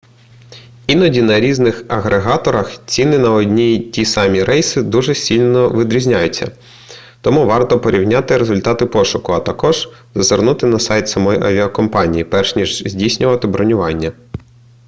іноді на різних агрегаторах ціни на одні й ті самі рейси дуже сильно відрізняються тому варто порівняти результати пошуку а також зазирнути на сайт самої авіакомпанії перш ніж здійснювати бронювання